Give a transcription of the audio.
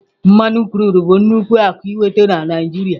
mmanụ krudụ bụ nnukwu akụ ịnweta na Naijiria.